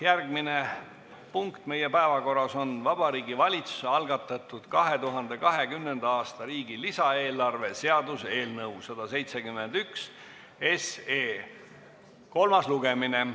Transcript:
Järgmine punkt on Vabariigi Valitsuse algatatud riigi 2020. aasta lisaeelarve seaduse eelnõu 171 kolmas lugemine.